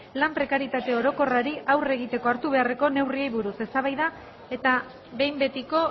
lan prekaritate orokorrari aurre egiteko hartu beharreko neurriei buruz eztabaida eta behin betiko